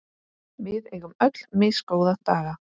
Við eigum öll misgóða daga.